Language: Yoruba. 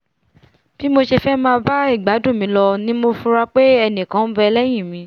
bí mo ṣe fẹ́ máà bá ìgbádùn mi lọ ni mo fura pé ẹnìkan nbẹ lẹ́hìn mi